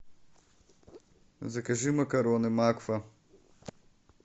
закажи макароны макфа